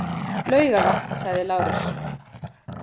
Laugarvatn, sagði Lárus.